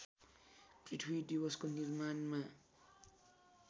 पृथ्वी दिवसको निर्माणमा